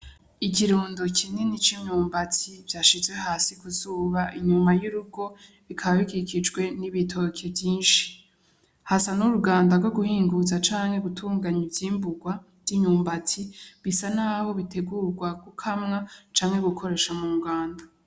Ikirundo kinini c'imyumbati vyashizwe hasi ku zuba inyuma y'urugo, bikaba bikikijwe n'ibitoke vyinshi, hasa nk'uruganda rwoguhinguza canke gutunganya ivyi'mburwa vy'imyumbati, bisa nkaho bitegurwa gukamwa canke gukoreshwa mu nganda.